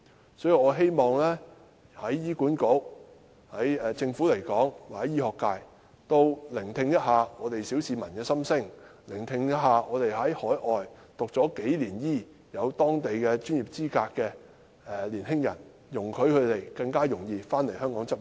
因此，我希望醫管局、政府和醫學界也可聆聽小市民的心聲，聆聽在海外讀醫數年取得當地專業資格的年青人的心聲，容許他們更容易回港執業。